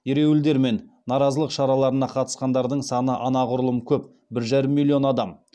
ереуілдер мен наразылық шараларына қатысқандардың саны анағұрлым көп бір жарым миллион адам